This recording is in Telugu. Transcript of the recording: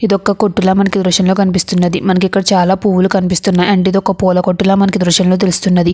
ఇది ఒక్క కొట్టులా మనకి దృశ్యంలో కనిపిస్తున్నది మనకి ఇక్కడ చాలా పువ్వులు కనిపిస్తునాయి అండ్ ఇది ఒక్క పూలా కొట్టుల మనకి దృశ్యంలో తెలుస్తున్నది.